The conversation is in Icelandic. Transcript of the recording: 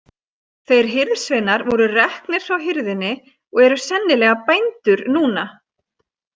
Þeir hirðsveinar voru reknir frá hirðinni og eru sennilega bændur núna.